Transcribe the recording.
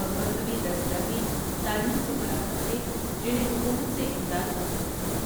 اور مذہبی درسگاہیں، تعلیم کے مراکز تھے جنہیں حکومت سے امداد حاصل ہوتی تھی۔